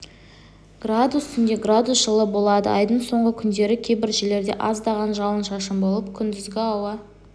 градус түнде градус жылы болады айдың соңғы күндері кейбір жерлерде аздаған жауын-шашын болып күндізгі ауа